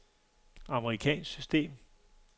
amerikansk system